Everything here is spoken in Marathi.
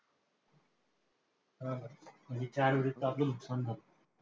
हा हा म्हणजे चार आपलं नुकसान झालं.